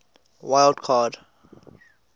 wild card